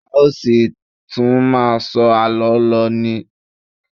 A ó ṣì tún máà sọ àlọ́ lọ ni.